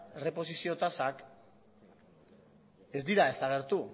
erreposizio tasak ez dira desagertu